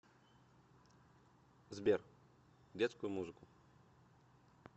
сбер детскую музыку